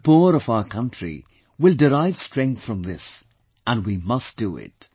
The poor of our country will derive strength from this and we must do it